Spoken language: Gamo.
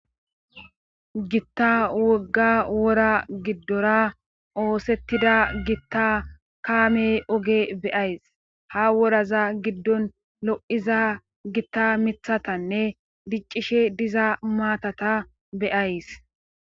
Gitta wogga wora giddora oosettida gitta kaame oge beyays ha woraza giddon lo7iza gitta mithatanne diccishe diza maatata beyays